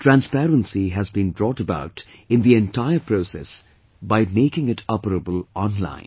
Transparency has been brought about in the entire process by making it operable online